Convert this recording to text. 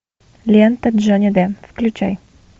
лента джонни д включай